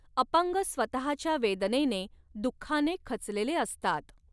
अपंग स्वतःच्या वेदनेने, दुःखाने खचलेले असतात.